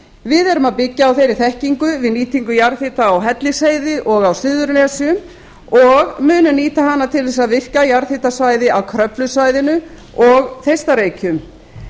við erum að byggja á þeirri þekkingu við nýtingu jarðhita á hellisheiði og á suðurnesjum og munum nýta hana til þess að virkja jarðhitasvæði á kröflusvæðinu og þeistareykjum